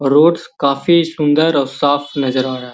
road काफी सुन्दर और साफ़ नज़र आ रहा है |